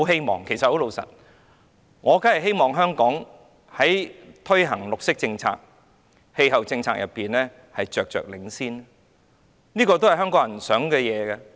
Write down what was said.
老實說，我當然希望香港在推行綠色政策、氣候政策上着着領先，這也是香港人的期望。